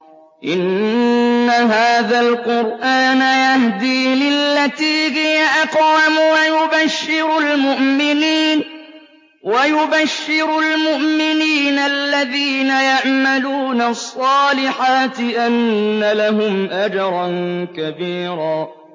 إِنَّ هَٰذَا الْقُرْآنَ يَهْدِي لِلَّتِي هِيَ أَقْوَمُ وَيُبَشِّرُ الْمُؤْمِنِينَ الَّذِينَ يَعْمَلُونَ الصَّالِحَاتِ أَنَّ لَهُمْ أَجْرًا كَبِيرًا